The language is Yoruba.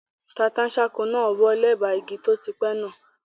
Tata-n-sánkọ náà wọ́ lẹ́bàá igi tó ti pẹ́ náà